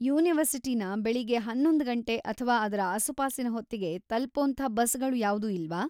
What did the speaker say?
ಯೂನಿವರ್ಸಿಟಿನ ಬೆಳಗ್ಗೆ ಹನ್ನೊಂದು ಗಂಟೆ ಅಥ್ವಾ ಅದ್ರ ಆಸುಪಾಸಿನ ಹೊತ್ತಿಗೆ ತಲುಪೋಂಥ ಬಸ್‌ಗಳು ಯಾವ್ದೂ ಇಲ್ವಾ?